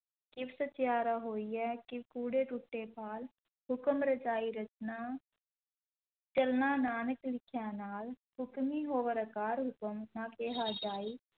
ਕਿਵ ਸਚਿਆਰਾ ਹੋਈਐ ਕਿਵ ਕੂੜੈ ਤੁਟੈ ਪਾਲਿ, ਹੁਕਮਿ ਰਜਾਈ ਰਚਨਾ ਚਲਣਾ ਨਾਨਕ ਲਿਖਿਆ ਨਾਲਿ, ਹੁਕਮੀ ਹੋਵਨਿ ਆਕਾਰ ਹੁਕਮੁ ਨਾ ਕਹਿਆ ਜਾਈ,